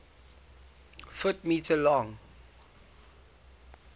ft m long